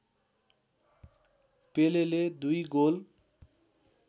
पेलेले दुई गोल